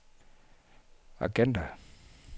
agenda